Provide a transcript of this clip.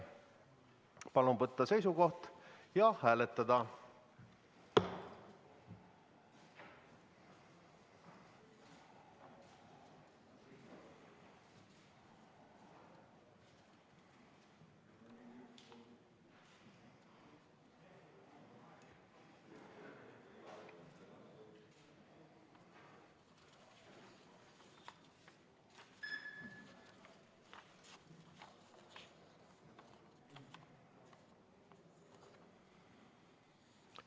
Palun võtta seisukoht ja hääletada!